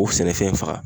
O sɛnɛfɛn faga